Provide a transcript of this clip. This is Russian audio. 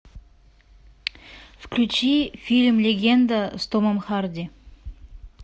включи фильм легенда с томом харди